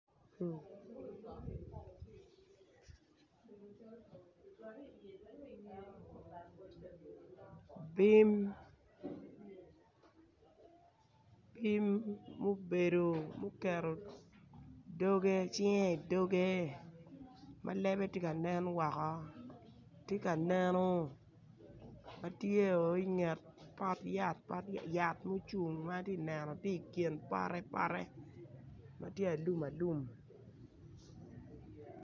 Bim mubedo muketto cinge i dogge ma lebbe ti ka nen woko ti ka neno matyoo i nget pot yat, yat mucung ma ati neno ti i kin pote pote ma ti alum alum.